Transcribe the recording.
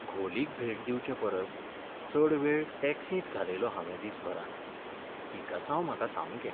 घोलीक भेट दिवचेपरस चड वेळ टॅक्सींत घालयलो हांवें दीसभरांत. पिकासांव म्हाका सामकें.